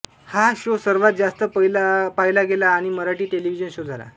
हा शो सर्वात जास्त पाहिला गेला आणि मराठी टेलिव्हिजन शो झाला